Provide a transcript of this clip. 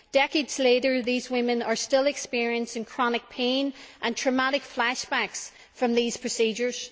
Decades later, these women are still experiencing chronic pain and traumatic flashbacks from these procedures.